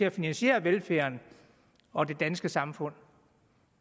at finansiere velfærden og det danske samfund